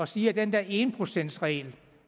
sige at den der en procents regel